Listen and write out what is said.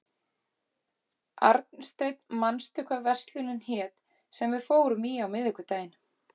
Arnsteinn, manstu hvað verslunin hét sem við fórum í á miðvikudaginn?